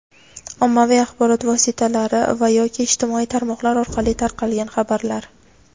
ommaviy axborot vositalari va (yoki) ijtimoiy tarmoqlar orqali tarqalgan xabarlar;.